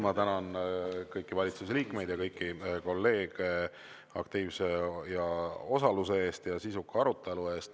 Ma tänan kõiki valitsuse liikmeid ja kolleege aktiivse osaluse ja sisuka arutelu eest.